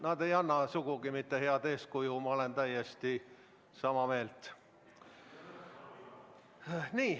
Nad ei anna sugugi mitte head eeskuju, ma olen täiesti sama meelt.